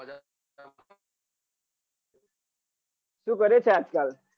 સુ કરે છે આજ કલ?